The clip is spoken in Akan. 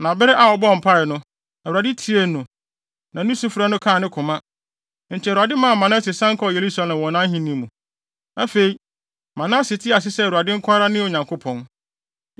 Na bere a ɔbɔɔ mpae no, Awurade tiee no, na ne sufrɛ no kaa ne koma. Enti Awurade maa Manase san kɔɔ Yerusalem wɔ nʼahenni mu. Afei, Manase tee ase sɛ Awurade nko ara ne Onyankopɔn.